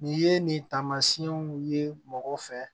Nin ye nin taamasiyɛnw ye mɔgɔ fɛ